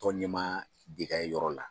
Tɔn ɲɛma bɛ kɛ o yɔrɔ la.